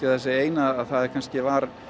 það eina að það var